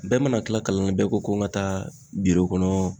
Bɛɛ mana kila kalan na bɛɛ ko ko n ka taa biro kɔnɔ